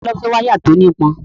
Ta ló fẹ́ wáyà tí ó nípọn?